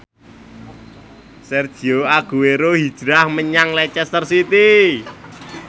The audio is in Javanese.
Sergio Aguero hijrah menyang Leicester City